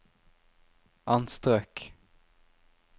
anstrøk